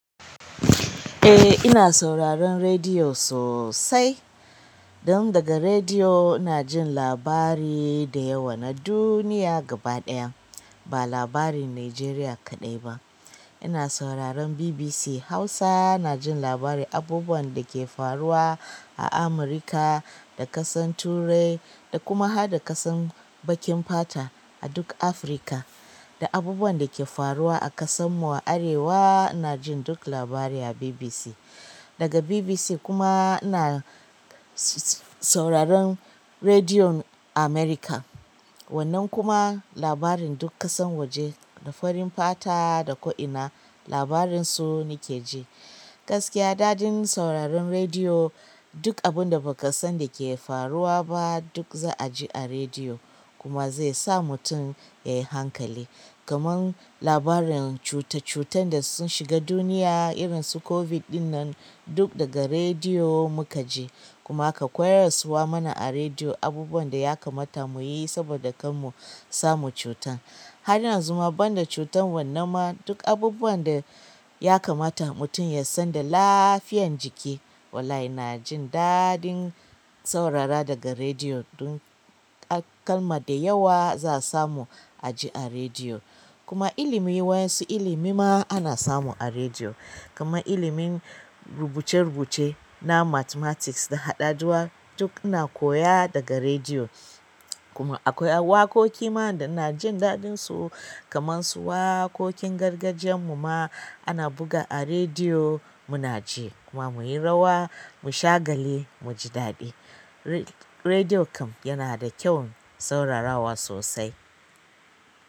Eh ina sauraron rediyo sosai. Don daga rediyo ina jin labari da yawa na duniya gaba ɗaya ba labarin Najeriya kaɗai ba. Ina sauraron BBC Hausa ina jin labari abubuwan da ke faruwa a Amurika da ƙasan Turai da kuma hadda ƙasan bakin fata a duk Afirka da abubuwan da ke faruwa a ƙasan mu a arewa ina jin duk labari a BBC. Daga BBC kuma ina sauraron rediyon Amerika wannan kuma labarin duk ƙasan waje da farin fata da ko'ina labarin su nake ji. Gaskiya daɗin sauraron rediyo duk abun da baka san da ke faruwa ba duk za a ji a rediyo kuma zai sa mutum yayi hankali. Kaman labarin cuta cutan da sun shiga duniya irin su COVID ɗinnan duk daga rediyo muka ji kuma aka koyar suwa mana a rediyo abubuwan da ya kamata muyi saboda kan mu samu cutan. Har yanzu ma banda cutan wannan ma duk abubuwan da ya kamata mutum ya san da lafiyan jiki wallahi ina jin daɗin saurara daga rediyo dun kalma da yawa za a samu a ji a rediyo. Kuma ilimi wa'yansu ilimi ma ana samu a rediyo kaman ilimin rubuce rubuce na mathematics da hadaduwa duk ina koya daga rediyo. Kuma akwai waƙoƙi ma da ina jin daɗin su kamansu waƙoƙin gargajiyan mu ma ana buga a rediyo muna ji kuma muyi rawa mu shagali mu ji daɗi. Rediyo kam yana da kyaun saurara wa sosai.